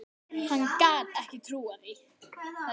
Hann gat ekki trúað þessu.